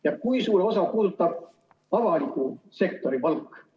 Ja kui suurt osa puudutab avaliku sektori palk?